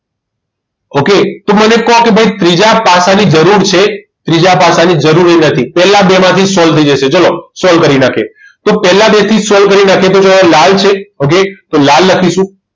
Okay તો મને કહો કે ભાઈ ત્રીજા પાસાની જરૂર છે ત્રીજા પાસાની જરૂર જ નથી પહેલા બે માંથી જ solve થઈ જશે ચાલો solve કરી નાખીએ તો પહેલા બે થી જ solve કરી નાખીએ તો ચલો લાલ છે okay તો લાલ લખીશું